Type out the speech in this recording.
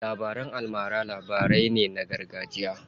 Labaran almara labarai ne na gargajiya.